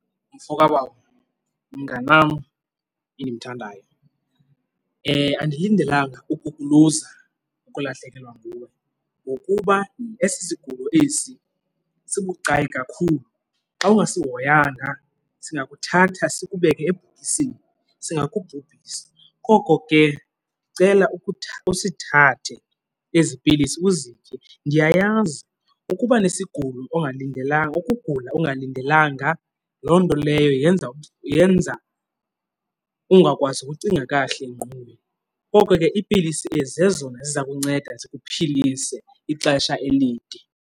Mfo kabawo, mnganam endimthandayo, andindelanga ukukuluza ukulahlekelwa nguwe ngokuba esi sigulo esi sibucayi kakhulu. Xa ungasihoyanga singakuthatha sikubeke ebhokisini, singakubhubhisa. Koko ke ndicela usithathe ezi pilisi uzitye. Ndiyayazi ukuba nesigulo ongalindelanga, ukugula ungalindelanga, loo nto leyo yenza yenza ungakwazi ukucinga kakuhle engqondweni. Koko ke iipilisi ezi zezona ziza kunceda zikuphilise ixesha elide.